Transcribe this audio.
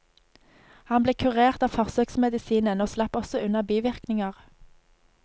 Han ble kurert av forsøksmedisinen, og slapp også unna bivirkninger.